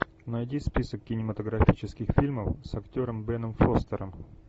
найди список кинематографических фильмов с актером беном фостером